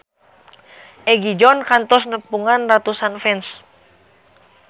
Egi John kantos nepungan ratusan fans